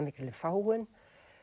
mikilli fágun